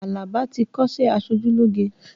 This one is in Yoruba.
Alaba ti kọ́sẹ́ aṣojúlógé